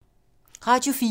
Radio 4